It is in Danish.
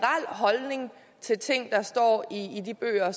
holdning til ting der står i de bøger